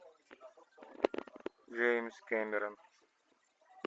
джеймс кэмерон